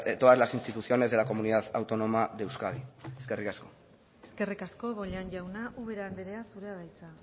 todas las instituciones de la comunidad autónoma de euskadi eskerrik asko eskerrik asko bollain jauna ubera andrea zurea da hitza